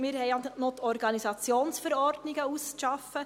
Wir haben noch die Organisationsverordnungen auszuarbeiten.